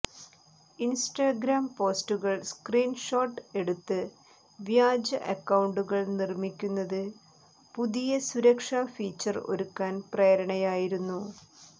Instagram പോസ്റ്റുകൾ screen shot എടുത്ത് വ്യാജ അക്കൌണ്ടുകൾ നിർമിക്കുന്നത് പുതിയ സുരക്ഷാ ഫീച്ചർ ഒരുക്കാൻ പ്രേരണയായിരുന്നു